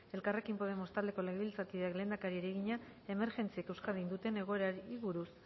elkarrekin podemos taldeko legebiltzarkideak lehendakariari egina emergentziek euskadin duten egoerari buruz